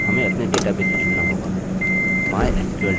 अब सर्वप्रथम हमें अपने डेटाबेस से जुड़ना होगा